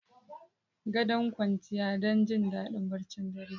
Gadon kwanciya don jin daɗin barcin dare.